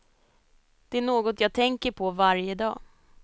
Det är något jag tänker på varje dag.